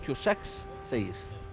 sex segir